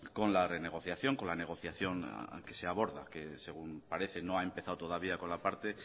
con la renegociación con la negociación a que se aborda que según parece no ha empezado todavía con la parte